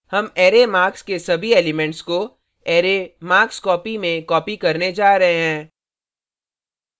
हम array marks के सभी elements को अरै markscopy में copy करने जा रहे हैं